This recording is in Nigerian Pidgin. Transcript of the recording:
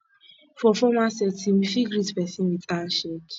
for formal setting we fit greet person with hand shake